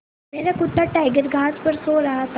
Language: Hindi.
मेरा कुत्ता टाइगर घास पर सो रहा था